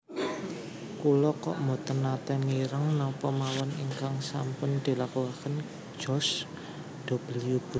Kula kok mboten nate mireng napa mawon ingkang sampun dilakuaken George W Bush